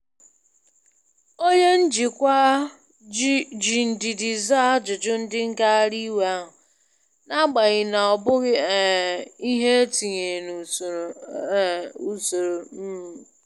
Onye njikwa ji ndidi zaa ajụjụ ndị ngagharị iwe ahụ, n’agbanyeghị na ọ bụghị um ihe e tinyere na usoro. um usoro. um